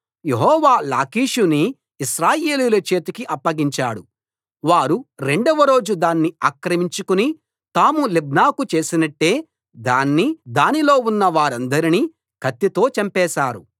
యెహోవా లాకీషుని ఇశ్రాయేలీయుల చేతికి అప్పగించాడు వారు రెండవ రోజు దాన్ని ఆక్రమించుకుని తాము లిబ్నాకు చేసినట్టే దాన్నీ దానిలో ఉన్న వారందరినీ కత్తితో చంపేశారు